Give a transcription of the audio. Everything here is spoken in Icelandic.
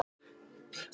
En nú er hún öll.